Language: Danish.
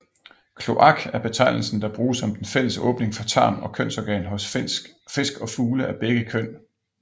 Kloak er betegnelsen der bruges om den fælles åbning for tarm og kønsorgan hos fisk og fugle af begge køn